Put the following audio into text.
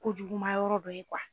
Kojuguma yɔrɔ dɔ ye